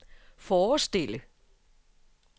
forestille